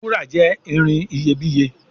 Wúrà jé ìrìn iyebiye.